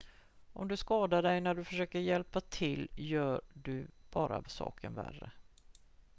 om du skadar dig när du försöker hjälpa till gör du bara saker värre